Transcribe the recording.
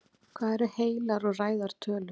Hvað eru heilar og ræðar tölur?